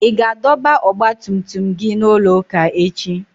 Ị ga-adọba ọgba tum tum gị n'ụlọ ụka echi?